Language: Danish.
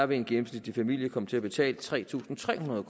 vil en gennemsnitlig familie komme til at betale tre tusind tre hundrede